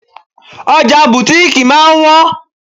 Ọjà butiiki máa ń han.